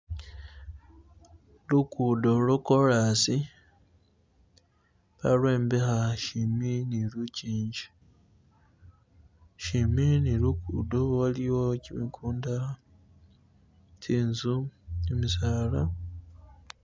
Lugudo lokolasi balombekha shimbi ni lugingi, shimbi ni lugudo waliwo chimigunda, tsinzu, gimisaala